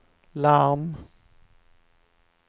larm